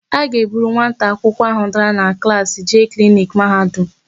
A ga-eburu nwata akwụkwọ áhụ̀ dara na klaasị jee kliniki Mahadum.